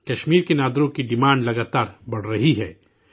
کشمیر کے نادرو کی ڈیمانڈ لگاتار بڑھ رہی ہے